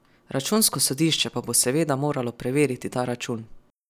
Računsko sodišče pa bo seveda moralo preveriti ta račun.